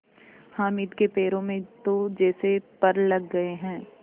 हामिद के पैरों में तो जैसे पर लग गए हैं